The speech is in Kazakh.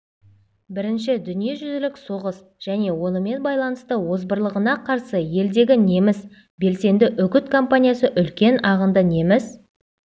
бірінші дүниежүзілік соғыс және онымен байланысты озбырлығына қарсы елдегі неміс белсенді үгіт компаниясы үлкен ағынды неміс